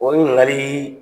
Olu nana ni